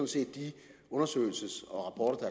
set de undersøgelsesrapporter